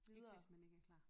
Ikke hvis man ikke er klar